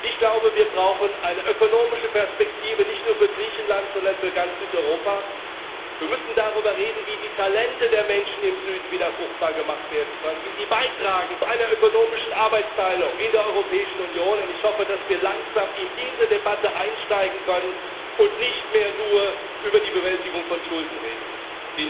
Ich glaube, wir brauchen eine ökonomische Perspektive nicht nur für Griechenland, sondern für ganz Südeuropa. Wir müssen darüber reden, wie die Talente der Menschen im Süden wieder fruchtbar gemacht werden können, wie sie zu einer ökonomischen Arbeitsteilung in der Europäischen Union beitragen können, und ich hoffe, dass wir langsam in diese Debatte einsteigen können und nicht mehr nur über die Bewältigung von Schulden reden müssen.